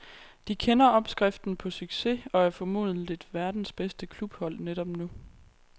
De kender opskriften på succes og er formentlig verdens bedste klubhold netop nu.